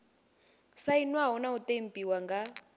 sainwaho na u ṱempiwa nga